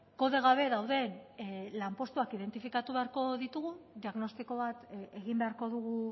kode gabe dauden lanpostuak identifikatu beharko ditugu diagnostiko bat egin beharko dugu